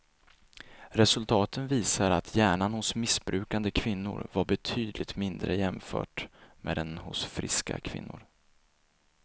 Resultaten visar att hjärnan hos missbrukande kvinnor var betydligt mindre jämfört med den hos friska kvinnor.